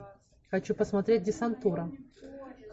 хочу посмотреть десантура